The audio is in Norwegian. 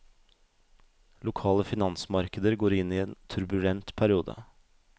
Lokale finansmarkeder går inn i en turbulent periode.